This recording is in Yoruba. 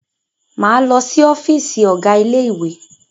Máa lọ si ọ́fìsì ọ̀gá ilé ìwé.